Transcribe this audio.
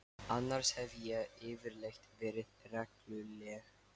Annars hef ég yfirleitt verið regluleg.